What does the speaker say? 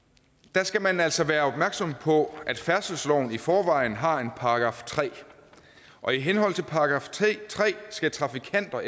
der skal man altså være opmærksom på at færdselsloven i forvejen har en § tre og i henhold til den skal trafikanter